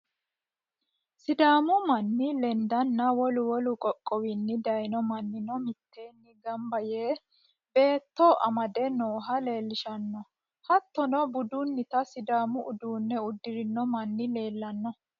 sidaamu manna lendanna wolu wolu qoqqowinni dayiino mannino mitteenni gamba yee baatto amade nooha leelishshanno, hattono budunnita sidaamu uddano uddirino manni leelanno.